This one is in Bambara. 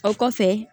O kɔfɛ